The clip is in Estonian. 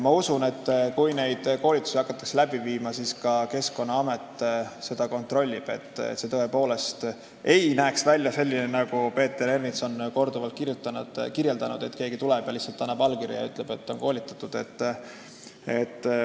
Ma usun, et kui neid koolitusi hakatakse läbi viima, siis ka Keskkonnaamet kontrollib, et see tõepoolest ei näeks välja nii, nagu Peeter Ernits on korduvalt kirjeldanud, et keegi tuleb, annab lihtsalt allkirja ja ütleb, et ta on koolitatud.